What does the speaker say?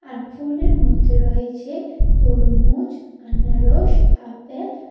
আর ফলের মধ্যে রয়েছে তরমুজ আনারস আপেল।